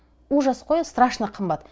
ужас қой страшно қымбат